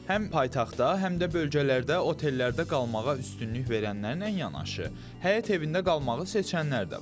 Həm paytaxtda, həm də bölgələrdə otellərdə qalmağa üstünlük verənlərlə yanaşı, həyət evində qalmağı seçənlər də var.